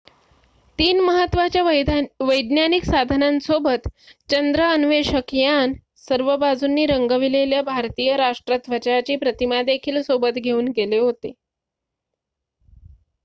3 महत्त्वाच्या वैज्ञानिक साधनांसोबत चंद्र अन्वेषक यान सर्व बाजूंनी रंगविलेल्या भारतीय राष्ट्र ध्वजाची प्रतिमा देखील सोबत घेऊन गेले होते